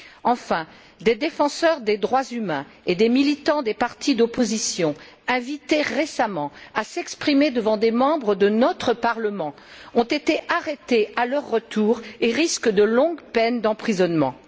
Enfin, des défenseurs des droits humains et des militants des partis d'opposition, invités récemment à s'exprimer devant des membres de notre Parlement, ont été arrêtés à leur retour et risquent de longues peines d'emprisonnement.